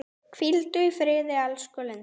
Hvíldu í friði, elsku Linda.